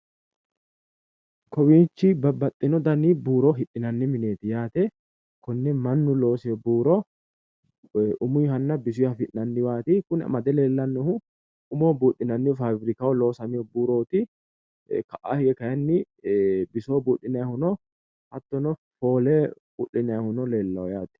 Kowiichi babbaxxino dani buuro hidhinanni mineeti yaate, konne mannu loosino buuro umunnihanna bisunniha afi'nanniwaati kuni amade leellannohu umoho buudhinanniho faabirikahao loosamino buurooti ka"a hige kayiinni bisoho buudhinayihu no hattono, foole u'linayhuno leellawo yaate.